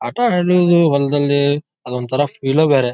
ಆಟ ಆಡೋದು ಹೊಲದಲ್ಲಿ ಅದು ಒಂದ್ತಾರ ಫಿಲ ಬೇರೆ.